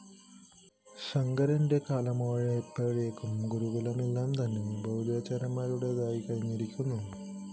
ശങ്കരന്റെ കാലമായപ്പോഴേക്കും ഗുരുകുലങ്ങളെല്ലാം തന്നെ ബൗദ്ധാചാര്യന്മാരുടെതായി കഴിഞ്ഞിരുന്നു